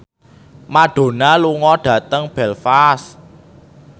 Madonna lunga dhateng Belfast